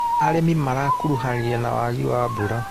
Arĩmi marakuruhanire na wagi wa mbura.